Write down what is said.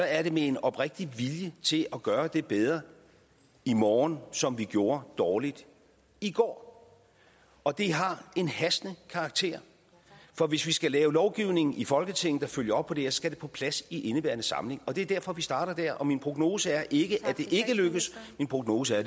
er det med en oprigtig vilje til at gøre det bedre i morgen som vi gjorde dårligt i går og det har en hastende karakter for hvis vi skal lave lovgivning i folketinget der følger op på det her skal det på plads i indeværende samling det er derfor vi starter der og min prognose er ikke at det ikke lykkes min prognose er